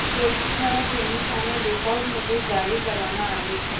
police દ્વારા તેની સામે લુકઆઉટ નોટિસ જારી કરવામાં આવી છે